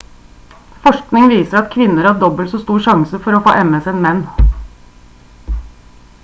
forskning viser at kvinner har dobbelt så stor sjanse for å få ms enn menn